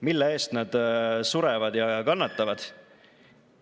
Mille eest nad kannatavad ja surevad?